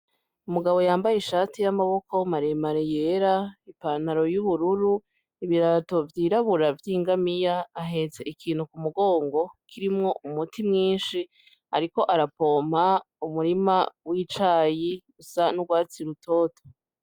Umugabo yambaye ishati yamaboko maremare yera ipantaro y'ubururu ibirato vyirabura vy'ingamiya ahetse ikintu kumugongo kirimwo umuti mwinshi ariko arapompa umurima w'icayi usa n'urwatsi rutoto .